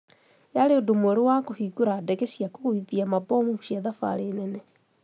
Yaarĩ ũndũ mwerũ wa kũbingũra ndege cia kũgwĩthia mabomu cia thafarĩ nene